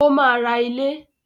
Ó máa ra ilé